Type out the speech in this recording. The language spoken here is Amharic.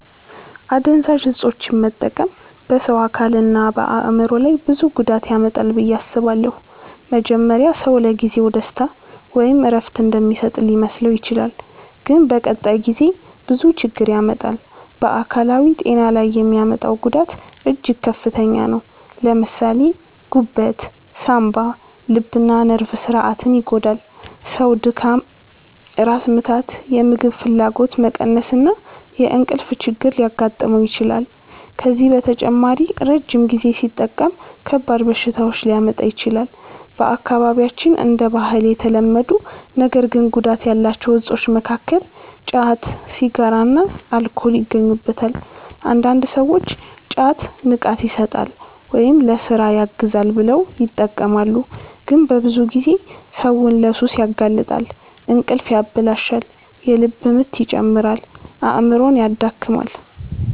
አደንዛዥ እፆችን መጠቀም በሰው አካልና በአእምሮ ላይ ብዙ ጉዳት ያመጣል ብዬ አስባለሁ። መጀመሪያ ሰው ለጊዜው ደስታ ወይም እረፍት እንደሚሰጥ ሊመስለው ይችላል፣ ግን በቀጣይ ጊዜ ብዙ ችግር ያመጣል። በአካላዊ ጤና ላይ የሚያመጣው ጉዳት እጅግ ከፍተኛ ነው። ለምሳሌ ጉበት፣ ሳንባ፣ ልብና ነርቭ ስርዓትን ይጎዳል። ሰው ድካም፣ ራስ ምታት፣ የምግብ ፍላጎት መቀነስ እና የእንቅልፍ ችግር ሊያጋጥመው ይችላል። ከዚህ በተጨማሪ ረጅም ጊዜ ሲጠቀም ከባድ በሽታዎች ሊያመጣ ይችላል። በአካባቢያችን እንደ ባህል የተለመዱ ነገር ግን ጉዳት ያላቸው እፆች መካከል ጫት፣ ሲጋራና አልኮል ይገኙበታል። አንዳንድ ሰዎች ጫት “ንቃት ይሰጣል” ወይም “ለሥራ ያግዛል” ብለው ይጠቀማሉ፣ ግን በብዙ ጊዜ ሰውን ለሱስ ያጋልጣል። እንቅልፍ ያበላሻል፣ የልብ ምት ይጨምራል፣ አእምሮንም ያደክማል።